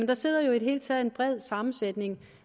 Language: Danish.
der sidder jo i det hele taget en bred sammensætning